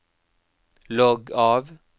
logg av